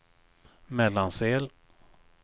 Mellansel